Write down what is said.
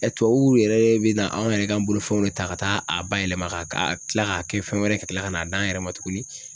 tuwawuw yɛrɛ be na anw yɛrɛ ka bolofɛnw de ta ka taa a bayɛlɛma ka tila k'a kɛ fɛn wɛrɛ ka tila ka n'a d'an yɛrɛ ma tuguni